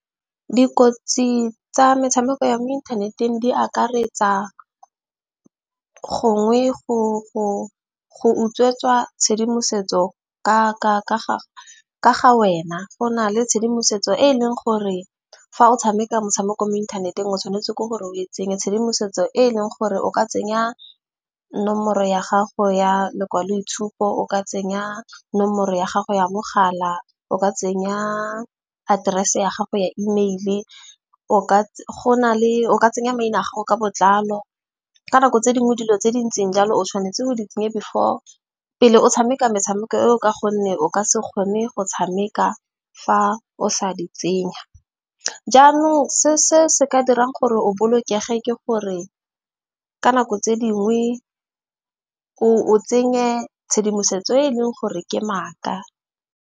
Dikotsi tsa metshameko ya mo inthaneteng di akaretsa gongwe go utswetswa tshedimosetso ka gage ka ga wena go na le tshedimosetso e e leng gore fa o tshameka motshameko mo inthaneteng o tshwanetse ke gore o e tsenye. Tshedimosetso e e leng gore o ka tsenya nomoro ya gago ya lekwaloitshupo. O ka tsenya nomoro ya gago ya mogala. O ka tsenya aterese ya gago ya email-e. O ka tsenya maina a gago ka botlalo. Ka nako tse dingwe dilo tse dintseng jalo o tshwanetse go di tsenye before pele o tshameka metshameko e o. Ka gonne o ka se kgone go tshameka fa o sa di tsenya. Jaanong se ka dirang gore o boloke ge, ke gore ka nako tse dingwe o tsenye tshedimosetso e e leng gore ke maaka.